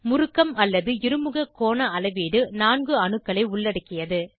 முறுக்கம் அல்லது இருமுக கோண அளவீடு 4 அணுக்களை உள்ளடக்கியது